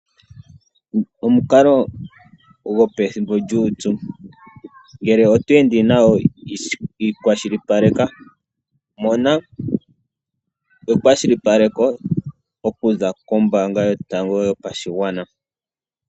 Omukalo gwo pethimbo lyuupyu, ngele oto ende nawo ikwashilipaleka. Mona ekwashilipaleko okuza kombaanga yotango yopashigwana.